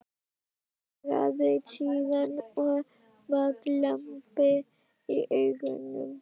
Svaraði síðan, og var glampi í augunum: